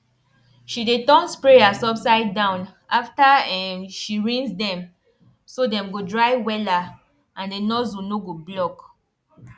she dey turn sprayers upside down after um she rinse them so dem go dry wella and the nozzle no go block